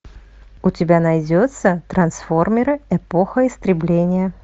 у тебя найдется трансформеры эпоха истребления